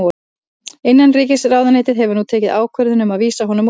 Innanríkisráðuneytið hefur nú tekið ákvörðun um að vísa honum úr landi.